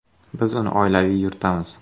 Biz uni oilaviy yuritamiz.